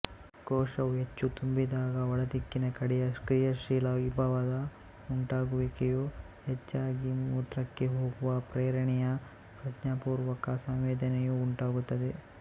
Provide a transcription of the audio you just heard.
ಕೋಶವು ಹೆಚ್ಚು ತುಂಬಿದಾಗ ಒಳದಿಕ್ಕಿನ ಕಡೆಯ ಕ್ರಿಯಾಶೀಲ ವಿಭವದ ಉಂಟಾಗುವಿಕೆಯು ಹೆಚ್ಚಾಗಿ ಮೂತ್ರಕ್ಕೆ ಹೋಗುವ ಪ್ರೇರಣೆಯ ಪ್ರಜ್ಞಾಪೂರ್ವಕ ಸಂವೇದನೆಯು ಉಂಟಾಗುತ್ತದೆ